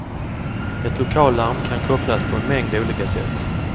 Ett lokallarm kan kopplas på en mängd olika sätt.